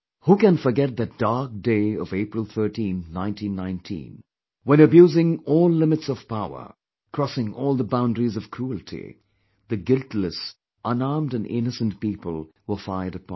Who can forget that dark day of April 13, 1919, when abusing all limits of power, crossing all the boundaries of cruelty; theguiltless, unarmed and innocent people were fired upon